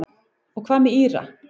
Og hvað með Íra?